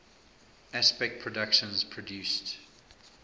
aspect productions produced